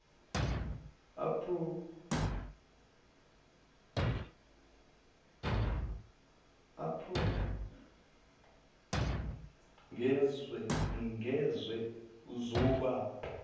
aprm ngezwe uzoba